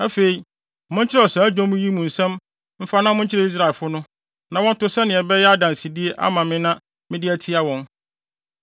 “Afei, monkyerɛw saa dwom yi mu nsɛm mfa na monkyerɛ Israelfo no, na wɔnto sɛnea ɛbɛyɛ adansede ama me na mede atia wɔn.